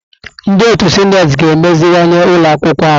Ndị otu sineti ga-emeziwanye ụlọ akwụkwọ ahụ.